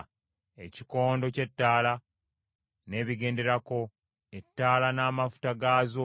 ekikondo ky’ettaala n’ebigenderako, ettaala n’amafuta gaazo;